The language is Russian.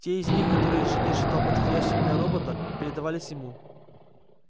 те из них которые инженер считал подходящим для робота передавались ему